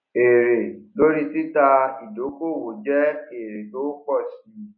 èrè lórí títa ìdókòwò jẹ èrè tó ń ń pọ si